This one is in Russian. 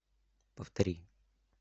повтори